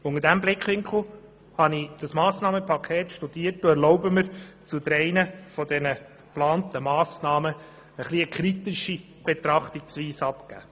Unter diesem Blickwinkel habe ich das Massnahmenpaket studiert und erlaube mir, zu drei der geplanten Massnahmen eine kritische Betrachtungsweise darzulegen.